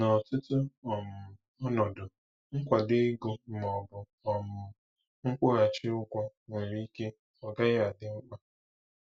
N'ọtụtụ um ọnọdụ, nkwado ego ma ọ bụ um nkwụghachi ụgwọ nwere ike ọ gaghị adị mkpa.